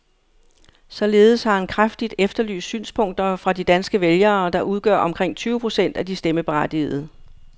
Således har han kraftigt efterlyst synspunkter fra de danske vælgere, der udgør omkring tyve procent af de stemmeberettigede.